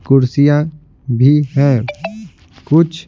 कुर्सियां भी है कुछ--